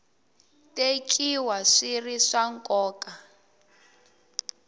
tekiwa swi ri swa nkoka